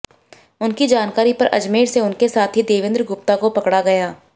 उनकी जानकारी पर अजमेर से उनके साथी देवेंद्र गुप्ता को पकड़ा गया